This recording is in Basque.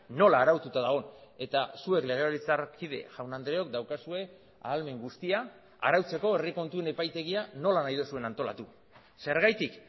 nola araututa dagon eta zuek legebiltzarkide jaun andreok daukazue ahalmen guztia arautzeko herri kontuen epaitegia nola nahi duzuen antolatu zergatik